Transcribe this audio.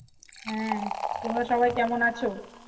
হ্যাঁ তোমরা সবাই কেমন আছো?